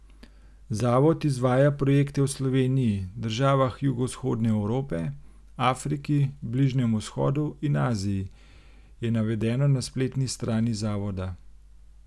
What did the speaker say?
Zavod izvaja projekte v Sloveniji, državah Jugovzhodne Evrope, Afriki, Bližnjem vzhodu in Aziji, je navedeno na spletni strani zavoda.